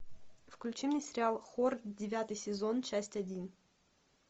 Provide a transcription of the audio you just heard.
включи мне сериал хор девятый сезон часть один